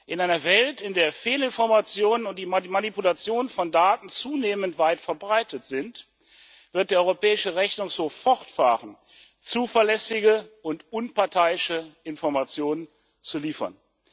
In einer Welt, in der Fehlinformationen und die Manipulation von Daten zunehmend weit verbreitet sind, wird der Europäische Rechnungshof fortfahren, zuverlässige und unparteiische Informationen zu liefern.